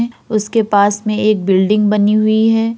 उसके पास में एक बिल्डिंग बनी हुई है।